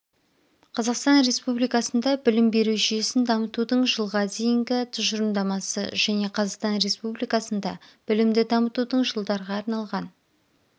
қазақстан республикасында білім беру жүйесін дамытудың жылға дейінгі тұжырымдамасы және қазақстан республикасында білімді дамытудың жылдарға арналған